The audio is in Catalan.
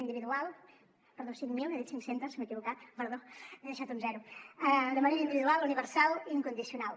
perdó cinc mil he dit cinc centes m’he equivocat perdó m’he deixat un zero de manera individual universal i incondicional